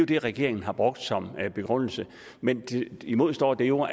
det regeringen har brugt som begrundelse men imod står der jo